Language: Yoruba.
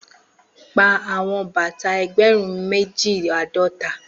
Pa awọn bata ẹgbẹrun meji ãdọta!